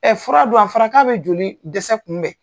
Ɛ fura don. A fɔra ka bi joli dɛsɛ kunbɛn.